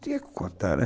Tinha que contar, né?